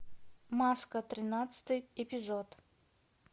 маска тринадцатый эпизод